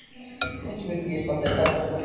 Ekki vildi ég standa í þakkarskuld við þig